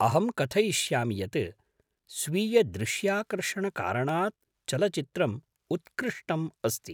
अहं कथयिष्यामि यत् स्वीयदृश्याकर्षणकारणात् चलचित्रम् उत्कृष्टम् अस्ति।